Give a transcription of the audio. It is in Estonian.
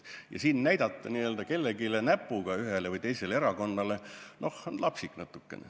Ja siin näidata n-ö kellelegi näpuga, ühele või teisele erakonnale, on natukene lapsik.